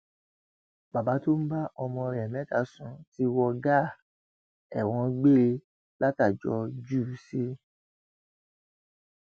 bàbá tó ń bá ọmọ rẹ mẹta sùn ti wọ gàá ẹwọn gbére látàjọ jù ú sí